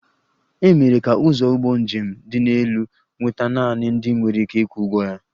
E mere ka ụzọ ụgbọ njem dị elu nweta naanị ndị nwere ike ịkwụ ụgwọ ya